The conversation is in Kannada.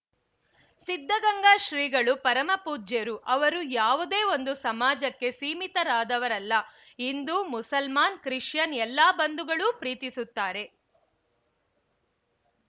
ಸಿದ್ಧಗಂಗಾ ಶ್ರೀಗಳು ಪರಮಪೂಜ್ಯರು ಅವರು ಯಾವುದೇ ಒಂದು ಸಮಾಜಕ್ಕೆ ಸೀಮಿತರಾದವರಲ್ಲ ಹಿಂದು ಮುಸಲ್ಮಾನ್‌ ಕ್ರಿಶ್ಚಿಯನ್‌ ಎಲ್ಲ ಬಂಧುಗಳೂ ಪ್ರೀತಿಸುತ್ತಾರೆ